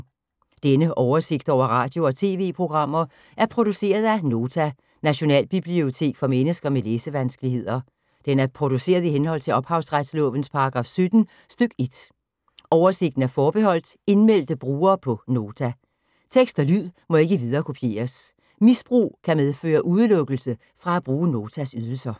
Denne oversigt over radio og TV-programmer er produceret af Nota, Nationalbibliotek for mennesker med læsevanskeligheder. Den er produceret i henhold til ophavsretslovens paragraf 17 stk. 1. Oversigten er forbeholdt indmeldte brugere på Nota. Tekst og lyd må ikke viderekopieres. Misbrug kan medføre udelukkelse fra at bruge Notas ydelser.